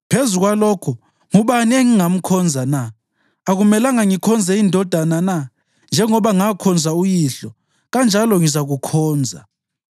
Phezu kwalokho, ngubani engingamkhonza na? Akumelanga ngikhonze indodana na? Njengoba ngakhonza uyihlo, kanjalo ngizakukhonza.”